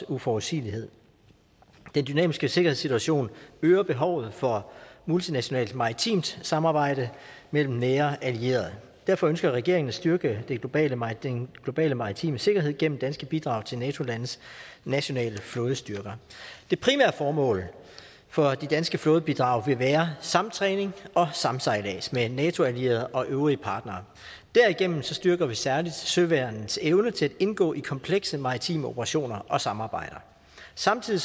uforudsigelighed den dynamiske sikkerhedssituation øger behovet for multinationalt maritimt samarbejde mellem nære allierede og derfor ønsker regeringen at styrke den globale maritime globale maritime sikkerhed gennem danske bidrag til nato landes nationale flådestyrker det primære formål for de danske flådebidrag vil være samtræning og samsejlads med nato allierede og øvrige partnere derigennem styrker vi særligt søværnets evne til at indgå i komplekse maritime operationer og samarbejder samtidig